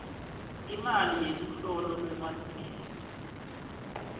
imali yeluhlolo lwemalungelo